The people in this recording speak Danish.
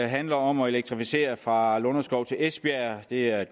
handler om at elektrificere fra lunderskov til esbjerg det er